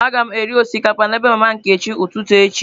Aga m eri osikapa na ebe mama Nkechi ụtụtụ echi..